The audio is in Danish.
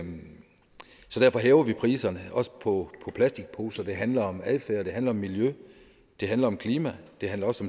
så derfor hæver vi priserne også på plastikposer det handler om adfærd det handler om miljø det handler om klima og det handler også